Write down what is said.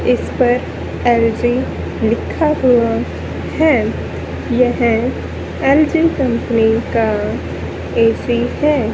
इस पर एल_जी लिखा हुआ है यह कंपनी का ए_सी है।